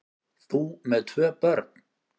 Þú með tvö börn!